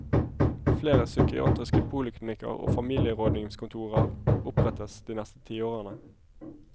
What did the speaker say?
Flere psykiatriske poliklinikker og familierådgivningskontorer opprettes de neste tiårene.